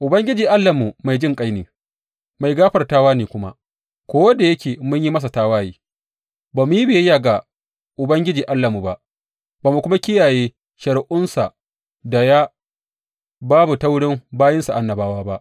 Ubangiji Allahnmu mai jinƙai ne, mai gafartawa ne kuma, ko da yake mun yi masa tawaye; ba mu yi biyayya ga Ubangiji Allahnmu ba, ba mu kuma kiyaye shari’unsa da ya ba mu ta wuri bayinsa annabawa ba.